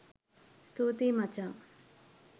ස්තුතියි මචං